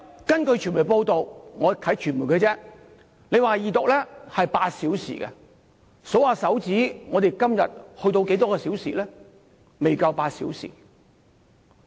根據傳媒報道，你說二讀辯論的時間有8小時，如果數算一下，我們今天辯論了多少個小時？